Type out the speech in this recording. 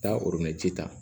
Taa ta